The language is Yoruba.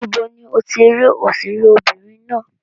Ibo ni o ti rí òṣèré obìnrin ná?